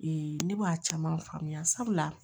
ne b'a caman faamuya sabula